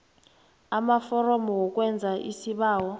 amaforomo wokwenza isibawo